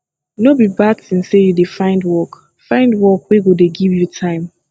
no be bad tin sey you dey find work find work wey go dey give you time